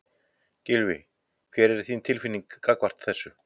Gylfi, hver er þín tilfinning gagnvart þessu?